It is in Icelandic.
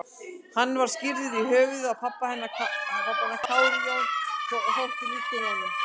Hann var skírður í höfuðið á pabba hennar, Kári Jón, og þótti líkur honum.